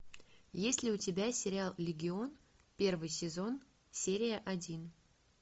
есть ли у тебя сериал легион первый сезон серия один